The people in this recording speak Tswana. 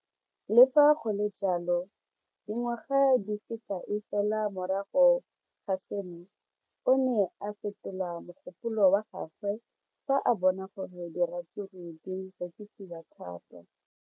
Le fa go le jalo, dingwaga di se kae fela morago ga seno, o ne a fetola mogopolo wa gagwe fa a bona gore diratsuru di rekisiwa thata.